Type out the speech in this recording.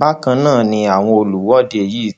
bákan náà ni àwọn olùwọde yìí